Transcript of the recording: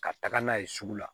Ka taga n'a ye sugu la